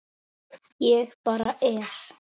Ég bara er.